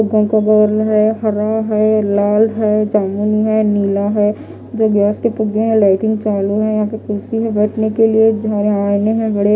घर का बोर्ड लगाया हरा है रेड है जामुनी है नीला है दो गैस के फुगे है लाइटिंग चालू है कुर्सी है बैठने के लिए--